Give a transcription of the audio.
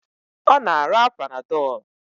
Ọ na-ara Panadọlu